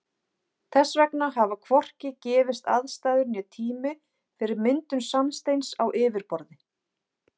Þess vegna hafa hvorki gefist aðstæður né tími fyrir myndun sandsteins á yfirborði.